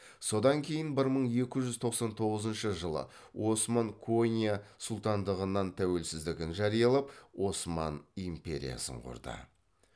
содан кейін бір мың екі жүз тоқсан тоғызыншы жылы осман конья сұлтандығынан тәуелсіздігін жариялап осман империясын құрды